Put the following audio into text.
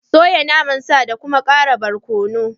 Soya naman sa da kuma ƙara barkono